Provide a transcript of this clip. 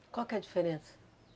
Qual que é a diferença?